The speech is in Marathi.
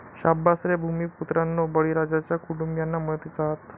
शाब्बास रे भूमिपुत्रांनो, बळीराजाच्या कुटुंबीयांना मदतीचा हात